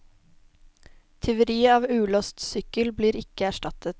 Tyveri av ulåst sykkel blir ikke erstattet.